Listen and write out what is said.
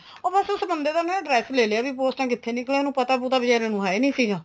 ਉਹ ਬੱਸ ਉਸ ਬੰਦੇ ਦਾ ਨਾ address ਲੈ ਲਿਆ ਵੀ ਪੋਸਟਾ ਕਿੱਥੇ ਨਿਕਲਣ ਪਤਾ ਪਤਾ ਬੀਚਾਰੇ ਨੂੰ ਹੈ ਨੀ ਸੀਗਾ